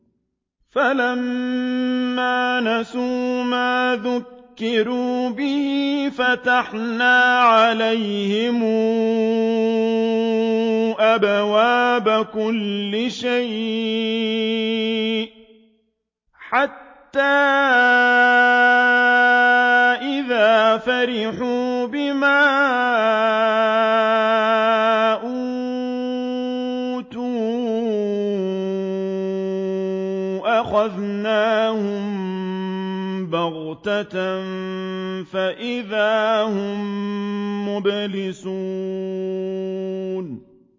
فَلَمَّا نَسُوا مَا ذُكِّرُوا بِهِ فَتَحْنَا عَلَيْهِمْ أَبْوَابَ كُلِّ شَيْءٍ حَتَّىٰ إِذَا فَرِحُوا بِمَا أُوتُوا أَخَذْنَاهُم بَغْتَةً فَإِذَا هُم مُّبْلِسُونَ